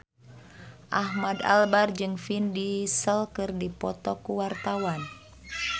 Ahmad Albar jeung Vin Diesel keur dipoto ku wartawan